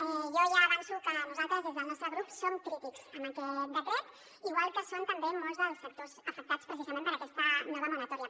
jo ja avanço que nosaltres des del nostre grup som crítics amb aquest decret igual que ho són també molts dels sectors afectats precisament per aquesta nova moratòria